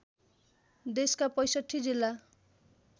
देशका ६५ जिल्ला